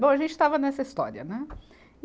Bom, a gente estava nessa história, né? E